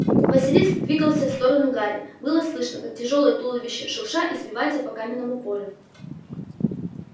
василиск двигался в сторону гарри было слышно как тяжёлое туловище шурша извивается по каменному полю